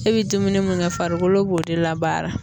E bi dumuni mun kɛ farikolo b'o de labaara.